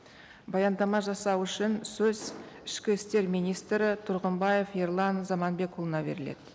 баяндама жасау үшін сөз ішкі істер министрі тұрғымбаев ерлан заманбекұлына беріледі